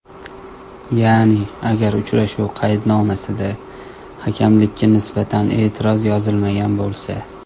Ya’ni, ‘agar uchrashuv qaydnomasida hakamlikka nisbatan e’tiroz yozilmagan bo‘lsa’.